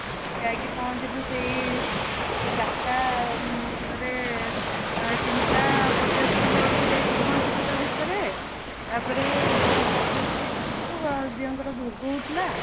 ଆମେ ଯାଇକି ପହଞ୍ଚିଲୁ ସେଇ ଚାରି ଟାଉଁ ରେ ଇଁ ତିନି ଟା ପଚାଶ ଖଣ୍ଡେ ବେଳକୁ ପହଞ୍ଚିଲୁ ତା ଭିତରେ ତାପରେ ତା line ରେ ଛିଡା ହେଇଥିଲୁ ଦିୟଙ୍କର ଭୋଗ ହୋଉ ଥିଲା